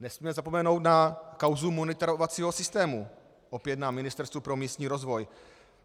Nesmíme zapomenout na kauzu monitorovacího systému opět na Ministerstvu pro místní rozvoj,